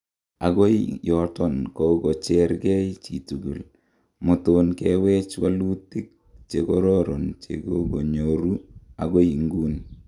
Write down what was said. Agoi yuton kogogochergei chitugul, moton kewech wolutin chekororon chegongeyoru agoi inguni.